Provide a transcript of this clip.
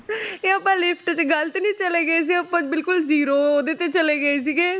ਤੇ ਆਪਾਂ lift 'ਚ ਗ਼ਲਤ ਨੀ ਚਲੇ ਗਏ ਸੀ, ਆਪਾਂ ਬਿਲਕੁਲ zero ਉਹਦੇ ਤੇ ਚਲੇ ਗਏ ਸੀਗੇ।